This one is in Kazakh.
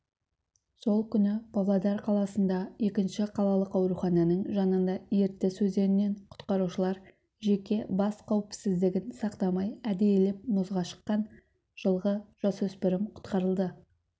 сол күні павлодар қаласында екінші қалалық аурухананың жанында ертіс өзенінен құтқарушылар жеке бас қауіпсіздігін сақтамай әдейілеп мұзға шыққан жылғы жасөспірім құтқарылды